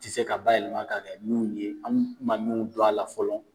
Tɛ se ka bayɛlɛma k'a kɛ minnu ye, an ma mun dɔn a la fɔlɔ